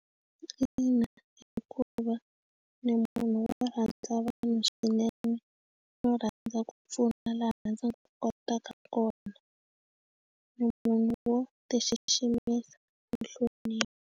Ina, hikuva ni munhu wo rhandza vanhu swinene no rhandza ku pfuna laha ndzi nga kotaka kona ni munhu wo ti xiximisa ni nhlonipho.